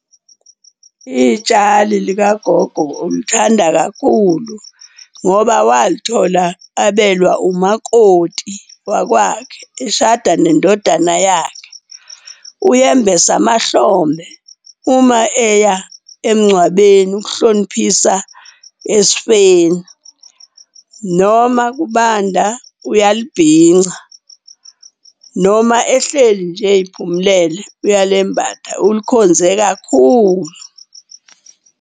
Itshali likagogo ulithanda kakhulu ngoba walithola abelwa umakoti wakwakhe eshada nendodana yakhe. Uye mbese amahlombe uma eya emngcwabeni ukuhloniphisa esifeni. Noma kubanda, uyalibhinca noma ehleli nje ey'phumelele uyalembatha, ulikhonze kakhulu.